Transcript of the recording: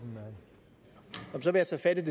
jeg synes at